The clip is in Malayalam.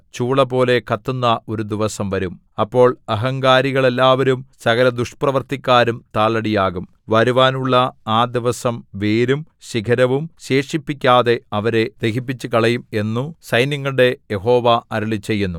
ചൂളപോലെ കത്തുന്ന ഒരു ദിവസം വരും അപ്പോൾ അഹങ്കാരികളെല്ലാവരും സകലദുഷ്പ്രവൃത്തിക്കാരും താളടിയാകും വരുവാനുള്ള ആ ദിവസം വേരും ശിഖരവും ശേഷിപ്പിക്കാതെ അവരെ ദഹിപ്പിച്ചുകളയും എന്നു സൈന്യങ്ങളുടെ യഹോവ അരുളിച്ചെയ്യുന്നു